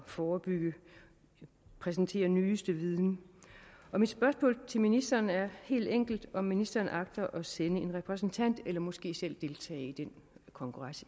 forebygge og præsentere den nyeste viden og mit spørgsmål til ministeren er helt enkelt om ministeren agter at sende en repræsentant eller måske selv deltage i den kongres